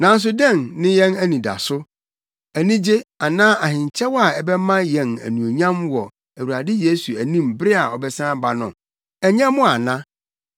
Nanso dɛn ne yɛn anidaso, anigye, anaa ahenkyɛw a ɛbɛma yɛn anuonyam wɔ Awurade Yesu anim bere a ɔbɛsan aba no? Ɛnyɛ mo ana?